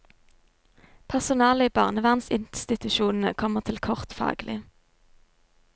Personalet i barnevernsinstitusjonene kommer til kort faglig.